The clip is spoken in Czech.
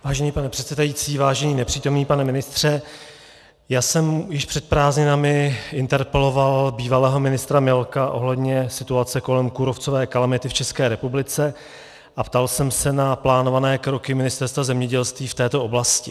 Vážený pane předsedající, vážený nepřítomný pane ministře, já jsem již před prázdninami interpeloval bývalého ministra Milka ohledně situace kolem kůrovcové kalamity v České republice a ptal jsem se na plánované kroky Ministerstva zemědělství v této oblasti.